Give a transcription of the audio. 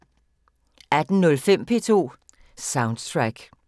18:05: P2 Soundtrack